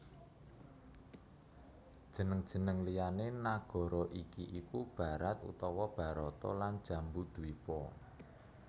Jeneng jeneng liyané nagara iki iku Bharat utawa Bharata lan Jambudwipa